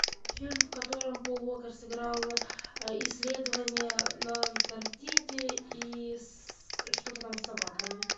фильм в котором пол уокер сыграл исследования на антарктиде и что то там с собаками